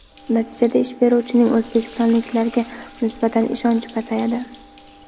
Natijada ish beruvchining o‘zbekistonliklarga nisbatan ishonchi pasayadi.